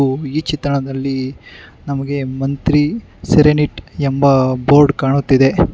ಹಾಗು ಈ ಚಿತ್ರಣದಲ್ಲಿ ನಮಗೆ ಮಂತ್ರಿ ಸೇರನೆಟ್ ಎಂಬ ಬೋರ್ಡ್ ಕಾಣುತ್ತಿದೆ.